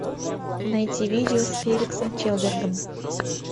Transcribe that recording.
найти видео с феликсом чельбергом